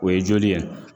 O ye joli ye